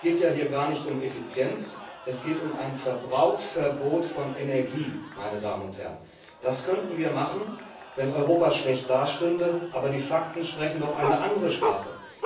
Es geht ja hier gar nicht um Effizienz, es geht um ein Verbrauchsverbot von Energie. Das könnten wir machen, wenn Europa schlecht dastünde, aber die Fakten sprechen doch eine andere Sprache.